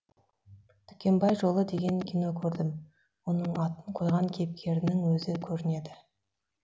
дүкенбай жолы деген кино көрдім оның атын қойған кейіпкерінің өзі көрінеді